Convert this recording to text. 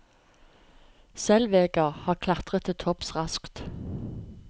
Zellweger har klatret til topps raskt.